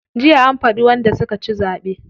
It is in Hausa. Jiya an faɗi wanda suka ci zaɓe.